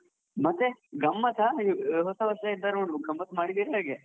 ಮತ್ತೆ ಗಮ್ಮತ್ತಾ, ಈ ಹೊಸ ವರ್ಷಕ್ಕೆ ಏನಾದ್ರೂ ಗಮ್ಮತ್ ಮಾಡಿದ್ದೀರ ಹೇಗೆ?